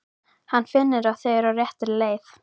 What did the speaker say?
Hann finnur að þau eru á réttri leið.